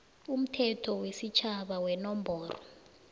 umthetho wesitjhaba wenomboro